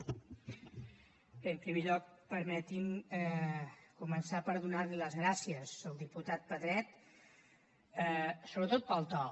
bé en primer lloc permeti’m començar per donar les gràcies al diputat pedret sobretot pel to